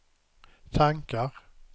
tankar